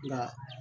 Nka